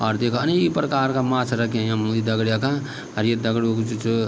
और देखा अनेक प्रकार का माछा रख्या यम ये दगड़िया का अर ये दगड़ू कु जू च।